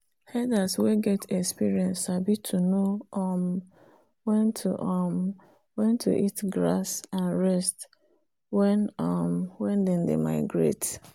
herders wen get experience sabi to know um wen to um eat grass and rest wen um them dey migrate